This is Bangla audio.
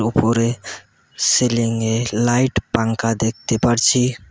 উপরে সিলিংয়ে লাইট পাংখা দেখতে পারছি।